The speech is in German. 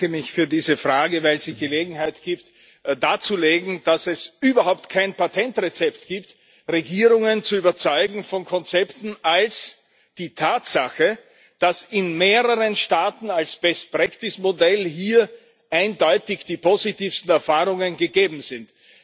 Ich bedanke mich für diese Frage, weil sie Gelegenheit gibt darzulegen, dass es überhaupt kein Patentrezept gibt, Regierungen von Konzepten zu überzeugen, außer der Tatsache, dass in mehreren Staaten als Modell hier eindeutig die positivsten Erfahrungen gegeben sind.